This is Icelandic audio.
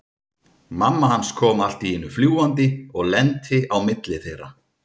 Mamma hans kom allt í einu fljúgandi og lenti á milli þeirra.